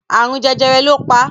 Àrùn jẹjẹrẹ lọ pa